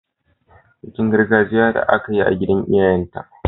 Bikin gargajiya da aka yi a gidan iyayenta.